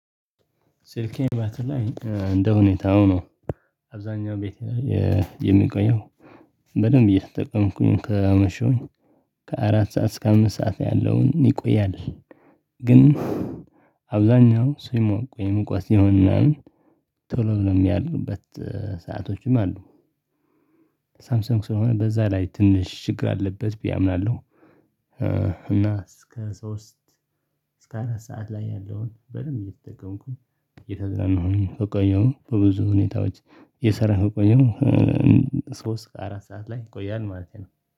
ስልኬን ባትሪ ላይ እንደሁኔታው ነው አብዛኛው ቤቴ ላይ የሚቆየው በደንብ እየተጠቀምኩኝ ካመሸሁኝ ከአራት ሰዓት እስከ አምስት ሰዓት ያለውን ይቆያል። ግን አብዛኛው ሲሞቅ ወይም ሙቀት ሲሆን ምናምን ቶሎ ብሎም እሚያልቅበት ሰአቶችም አሉ። ሳምሰንግ ስለሆነ በዛ ላይ ትንሽ ችግር አለበት ብዬ አምናለሁ። እና እስከ ሶስት እስከ አራት ሰዓት ላይ ያለውን በደንብ እየተጠቀምኩኝ እየተዝናናሁኝ ከቆየሁ በብዙ ሁኔታዎች እየሰራሁ ከቆየው ሶስት አራት ሰዓት ላይ ይቆያል ማለቴ ነው